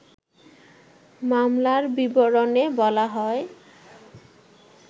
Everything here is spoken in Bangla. মামলার বিবরণে বলা হয়